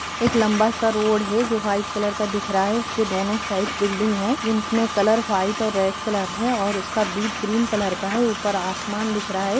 एक लंबा सा रोड है जो वाइट कलर का दिख रहा है उसके दोनों साइड बिल्डिंग है जिन में कलर वाइट और रेड कलर है और उसका बीड ग्रीन कलर का है ऊपर आसमान दिख रहा है।